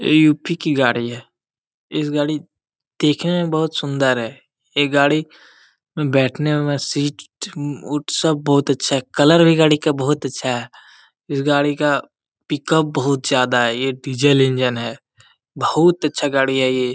UP. की गाड़ी है। इस गाड़ी देखने में बहुत सुन्दर है। यह गाड़ी बैठने में सीट वुड सब बहुत अच्छा है। कलर भी बहुत अच्छा है। इस गाड़ी का पिकअप बहुत ज्यादा है। ये डीजल इंजन है। बहुत अच्छा गाड़ी है ये।